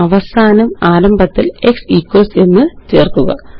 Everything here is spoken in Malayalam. അവസാനം ആരംഭത്തില് x ഇക്വൽസ് എന്ന് ചേര്ക്കുക